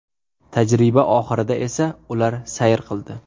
Tajriba oxirida esa ular sayr qildi.